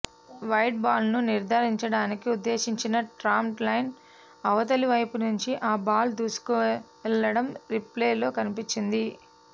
wide బాల్ను నిర్ధారించడానికి ఉద్దేశించిన ట్రామ్ లైన్ అవతలి వైపు నుంచి ఆ బాల్ దూసుకెళ్లడం రీప్లేలో కనిపించింది